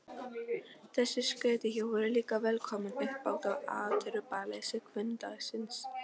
Þessi skötuhjú voru líka velkomin uppbót á atburðaleysi hvunndagsins.